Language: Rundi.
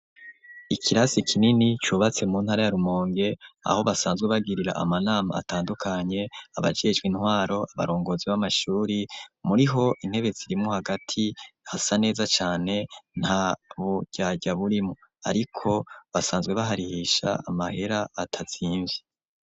Ikirasi kinini cubatse mu ntara ya Rumonge, aho basanzwe bagirira ama nama atandukanye ,abajejwe intwaro ,abarongozi b'amashure muri ho intebe zirimwo hagati hasa neza cane ,nta buryarya burimo ariko basanzwe baharihisha amahera atazimvye.